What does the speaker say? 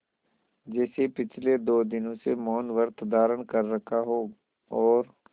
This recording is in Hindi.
जैसे पिछले दो दिनों से मौनव्रत धारण कर रखा हो और